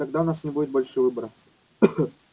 тогда у нас не будет больше выбора